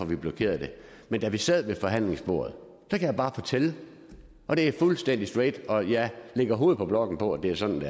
vi blokeret det men da vi sad ved forhandlingsbordet kan jeg bare fortælle og det er fuldstændig straight og jeg lægger hovedet på blokken på at det var sådan det